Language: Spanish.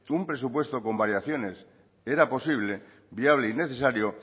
un presupuesto con variaciones era posible viable y necesario